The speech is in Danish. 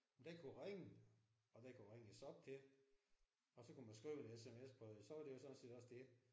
Og den kunne ringe og den kunne ringes op til og så kunne man skrive en SMS på den og så var det jo sådan set også det